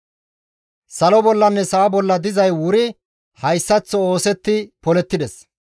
Salo bollanne sa7a bolla dizay wuri hayssaththo oosetti polettides.